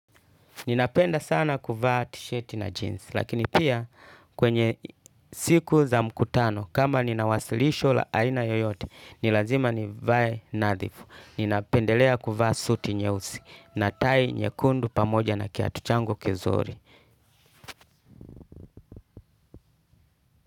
Ninapenda sana kuvaa tisheti na jeans, lakini pia kwenye siku za mkutano, kama nina wasilisho la aina yoyote, ni lazima nivae nadhifu. Ninapendelea kuvaa suti nyeusi, na tai nyekundu pamoja na kiatu changu kizuri.